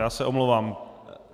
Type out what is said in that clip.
Já se omlouvám.